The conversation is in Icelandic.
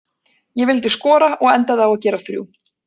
Ég vildi skora og endaði á að gera þrjú.